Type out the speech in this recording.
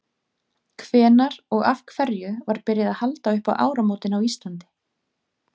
hvenær og af hverju var byrjað að halda upp á áramótin á íslandi